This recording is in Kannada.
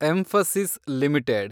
Mphasis limited